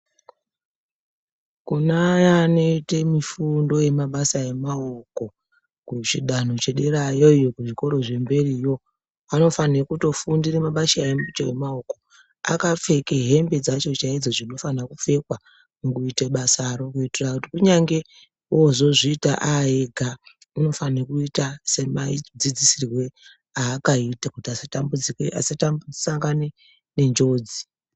Kune aya anoite mifundo emabasa emaoko, kuchidanho chederayo iyo kuzvikora kufundire mabasha acho emaoko akapfeke hembe dzacho chaidzo dzinofana kupfekwa mukuite basaro, kuitira kuti kunyange ozozviita aega unofanirwe kuita semadzidzisirwo aakaita kuitira kuti asa tambudzike kuti asa sangane nenjodzi.